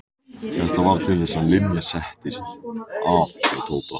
Þetta varð til þess að Linja settist að hjá Tóta.